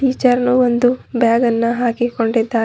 Teacher ನು ಒಂದು ಬ್ಯಾಗನ್ನ ಹಾಕಿಕೊಂಡಿದ್ದಾರೆ.